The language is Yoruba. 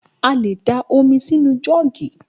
A lè dá omi sí inú jọ́ọ̀gì.